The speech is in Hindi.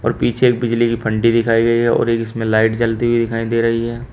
और पीछे बिजली की फंटी दिखाई दे रही है और इसमें लाइट जलती हुई दिख रही दे रही है।